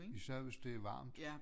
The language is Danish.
Især hvis det er varmt